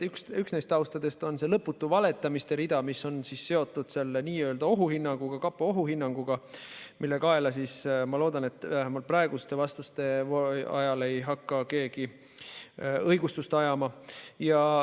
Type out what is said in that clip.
Üks neist taustadest on see lõputu valetamise rida, mis on seotud selle n-ö ohuhinnanguga, kapo ohuhinnanguga, mille kaela, ma loodan, vähemalt praeguste vastuste ajal ei hakata midagi ajama.